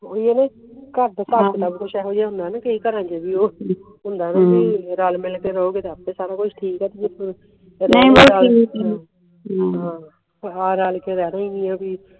ਓਹੀ ਆ ਨਾ ਕ ਘਰਦੇ ਹੁੰਦਾ ਵੀ ਰਲ ਮਿਲ ਕ ਰਹੋਗੇ ਤੇ ਆਪੇ ਸਾਰਾ ਕੁਜ ਠੀਕ ਆ ਆ ਰਲਕੇ ਰਹਿਣਾ ਈ ਨਹੀਂ ਆ ਵੀ